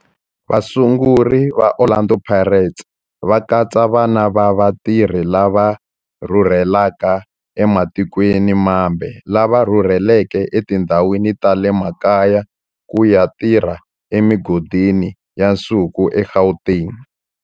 Vasunguri va Orlando Pirates va katsa vana va vatirhi lava rhurhelaka ematikweni mambe lava rhurheleke etindhawini ta le makaya ku ya tirha emigodini ya nsuku eGauteng.